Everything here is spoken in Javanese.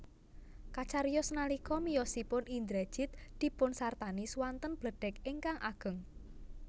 Kacariyos nalika miyosipun Indrajit dipunsartani swanten bledhèg ingkang ageng